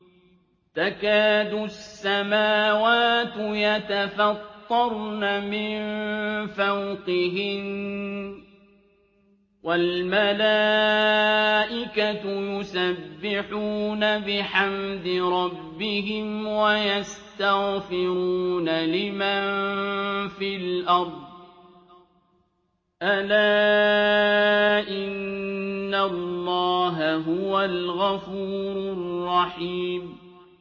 تَكَادُ السَّمَاوَاتُ يَتَفَطَّرْنَ مِن فَوْقِهِنَّ ۚ وَالْمَلَائِكَةُ يُسَبِّحُونَ بِحَمْدِ رَبِّهِمْ وَيَسْتَغْفِرُونَ لِمَن فِي الْأَرْضِ ۗ أَلَا إِنَّ اللَّهَ هُوَ الْغَفُورُ الرَّحِيمُ